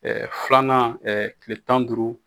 filanan tile tan ni duuru